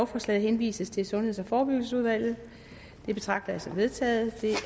forslaget henvises til sundheds og forebyggelsesudvalget det betragter jeg som vedtaget det